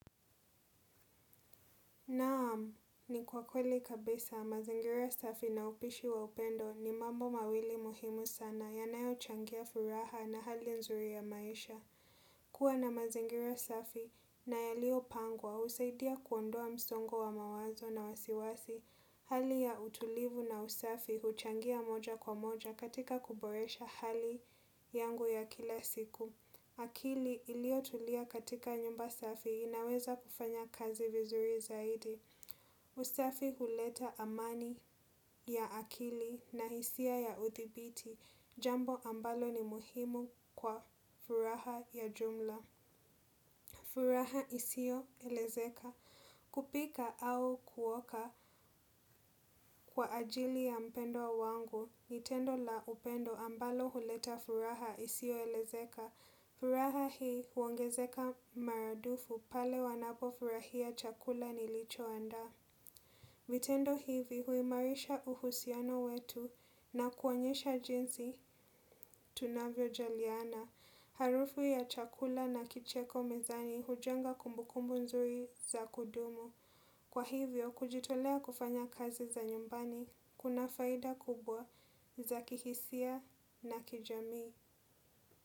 Naam, ni kwa kweli kabisa, mazingira safi na upishi wa upendo ni mambo mawili muhimu sana yanayochangia furaha na hali nzuri ya maisha. Kuwa na mazingira safi na yaliopangwa, husaidia kuondoa msongo wa mawazo na wasiwasi. Hali ya utulivu na usafi, huchangia moja kwa moja katika kuboresha hali yangu ya kila siku. Akili iliotulia katika nyumba safi inaweza kufanya kazi vizuri zaidi. Usafi huleta amani ya akili na hisia ya uthibiti jambo ambalo ni muhimu kwa furaha ya jumla. Furaha isioelezeka kupika au kuoka kwa ajili ya mpendwa wangu ni tendo la upendo ambalo huleta furaha isioelezeka. Furaha hii huongezeka maradufu pale wanapofurahia chakula nilichoandaa. Vitendo hivi huimarisha uhusiano wetu na kuonyesha jinsi tunavyojaliana. Harufu ya chakula na kicheko mezani hujenga kumbukumbu nzuri za kudumu. Kwa hivyo, kujitolea kufanya kazi za nyumbani kuna faida kubwa za kihisia na kijami.